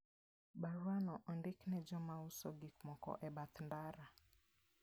Baruano ondik ne joma uso gik moko e bath ndara.